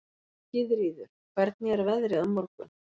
Gyðríður, hvernig er veðrið á morgun?